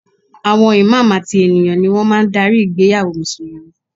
Àwọn Imam àti ènìyàn ni wọ́n máa ń darí ìgbéyàwó Mùsùlùmí